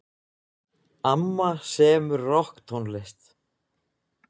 Amma semur rokktónlist.